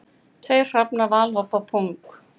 Tveir hrafnar valhoppa þung